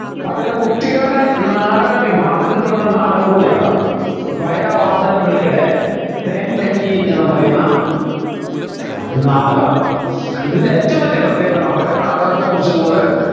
അതിലെ കുട്ടികളുടെ നാടക വിഭാഗത്തിൽപ്പെടുന്ന ഒരു നാടകം കൂടിയാണ് വയലാർ വാസുദേവൻ പിള്ളയുടെ തേൻ കനി എന്ന് പറയുന്ന നാടകം ഇതിൻ്റെ ഏറ്റവും വലിയ പ്രത്യേകത മക്കളെ നാടകത്തെക്കുറിച്ച് കൂടുതൽ